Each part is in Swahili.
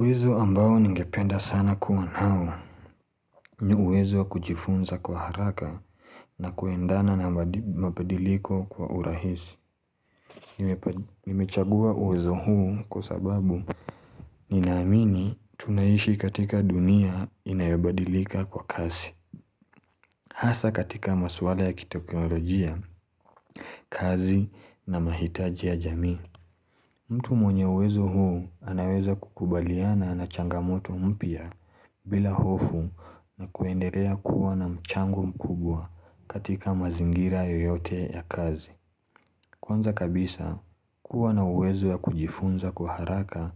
Uwezo ambao ningependa sana kuwa nao. Huwezo kujifunza kwa haraka na kuendana na mpadiliko kwa urahisi. Nimechagua uwezo huu kwa sababu. Ninaamini tunaishi katika dunia inayobadilika kwa kazi. Hasa katika maswala ya kiteknolojia, kazi na mahitaji ya jamii. Mtu mwenye uwezo huu anaweza kukubaliana na changamoto mpya bila hofu na kuendelea kuwa na mchangu mkubwa katika mazingira yoyote ya kazi. Kwanza kabisa, kuwa na wezo ya kujifunza kwa haraka,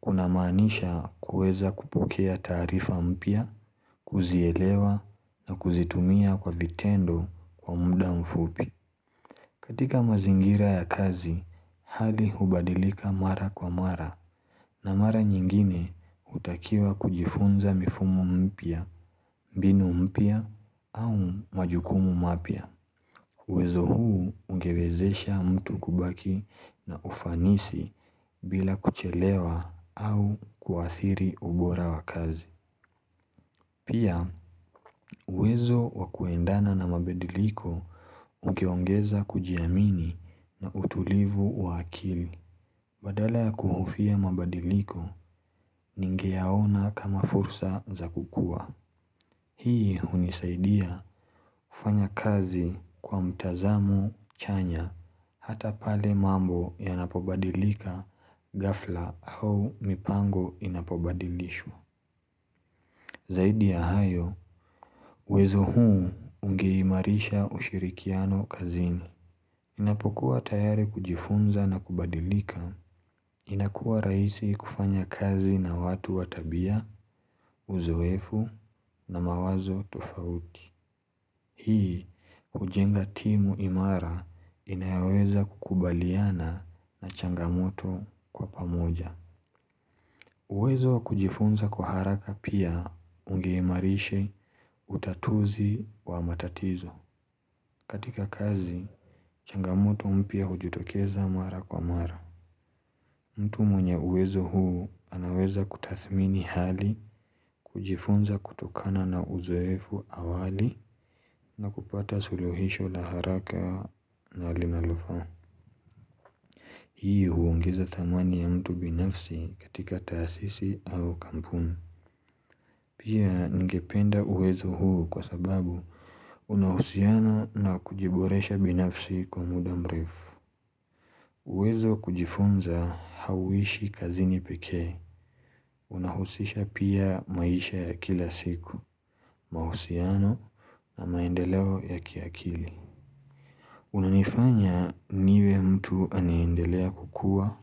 kuna maanisha kuweza kupukea tarifa mpya, kuzielewa na kuzitumia kwa vitendo kwa muda mfupi. Katika mazingira ya kazi, hadi hubadilika mara kwa mara na mara nyingine utakiwa kujifunza mifumu mpya, binu mpya au majukumu mapya. Wezo huu ungewezesha mtu kubaki na ufanisi bila kuchelewa au kuadhiri ubora wa kazi. Pia wezo wakuendana na mabadiliko ugeongeza kujiamini na utulivu wa akili. Badala ya kuhufia mabadiliko ningiaona kama fursa za kukua. Hii unisaidia ufanya kazi kwa mtazamo chanya hata pale mambo ya napobadilika ghafla au mipango inapobadilishwa. Zaidi ya hayo, uwezo huu ungeimarisha ushirikiano kazini. Inapokuwa tayari kujifunza na kubadilika. Inakuwa rahisi kufanya kazi na watu watabia, uzoefu na mawazo tofauti. Hii, ujenga timu imara inayaweza kukubaliana na changamoto kwa pamoja. Uwezo kujifunza kwa haraka pia ungemarisha utatuzi wa matatizo. Katika kazi, changamoto mpya ujutokeza mara kwa mara. Mtu mwenye uwezo huu anaweza kutadhmini hali kujifunza kutokana na uzoefu awali na kupata suluhisho la haraka na limalufa. Hii huungiza thamani ya mtu binafsi katika taasisi au kampuni. Pia ngependa uwezo huu kwa sababu unahusiano na kujiboresha binafsi kwa muda mrifu. Uwezo kujifunza hauishi kazini peke. Unahusisha pia maisha ya kila siku, mausiano na maendeleo ya kiakili. Unanifanya niwe mtu aniendelea kukua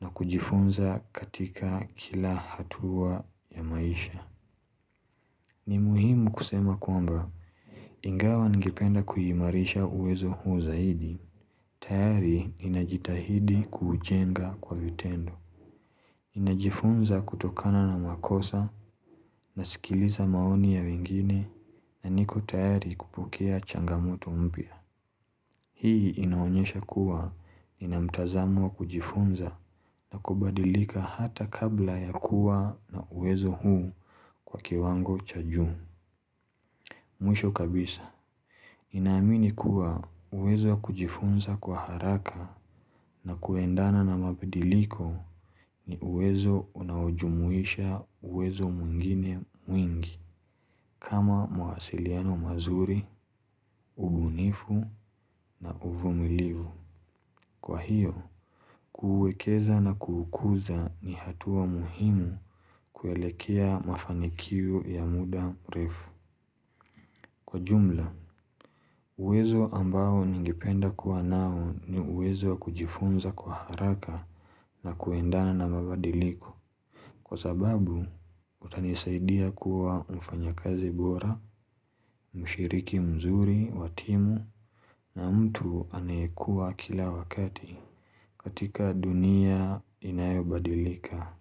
na kujifunza katika kila hatua ya maisha. Ni muhimu kusema kuamba ingawa ngependa kuhimarisha uwezo huu zaidi, tayari inajitahidi kujenga kwa vitendo. Inajifunza kutokana na makosa na sikiliza maoni ya wengine na niko tayari kupukea changamoto mpya. Hii inaonyesha kuwa inamtazamwa kujifunza na kubadilika hata kabla ya kuwa na uwezo huu kwa kiwango chajam. Mwisho kabisa, inaamini kuwa uwezo kujifunza kwa haraka na kuendana na mabidiliko ni uwezo unawajumuisha uwezo mwingine mwingi kama mwasiliano mazuri, ubunifu na uvumilivu. Kwa hiyo, kuuwekeza na kuukuza ni hatua muhimu kuelekea mafanikio ya muda refu. Kwa jumla, uwezo ambao ningependa kuwa nao ni uwezo kujifunza kwa haraka na kuendana na mabadiliku. Kwa zababu, utanesaidia kuwa mfanya kazi bora, mshiriki mzuri, watimu, na mtu anayekua kila wakati katika dunia inayobadilika.